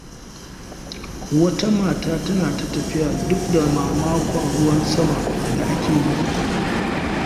Wata mata tana ta tafiya duk da mamakon ruwan sama da ake yi.